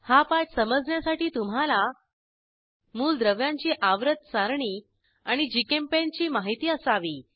हा पाठ समजण्यासाठी तुम्हाला मूलद्रव्यांची आवर्त सारणी आणि जीचेम्पेंट ची माहिती असावी